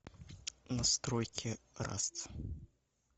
настройки раст